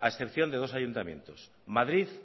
a excepción de dos ayuntamientos madrid